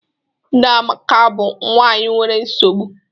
Nne Amaka bụ nwanyị nwere nsogbu